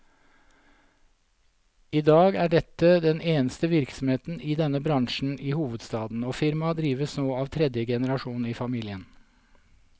I dag er dette den eneste virksomheten i denne bransjen i hovedstaden, og firmaet drives nå av tredje generasjon av familien.